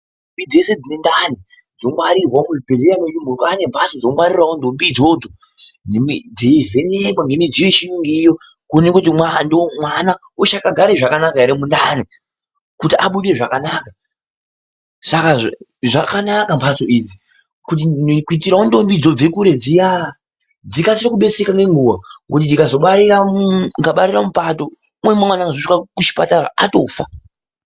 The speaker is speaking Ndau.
Ntombi dzeshe dzine ndani dzongwarirwa kuzvibhedhlera nokuti kwaanembatso dzobarira ntombi idzodzo dzeivhenekwa ngemidziyo yechiyungu iriyo kuoneka kuti mwana uchakagara zvakanaka here mundani kuti abude zvakanaka. Saka zvakanaka mbatso idzi, kuitirawo ntombi dzinobve kure dziyaa, dzikasire kudersereka ngenguwa, ngokuti dzikazobarira mupato, umweni mwana anotozosvika kuchipatara atofa.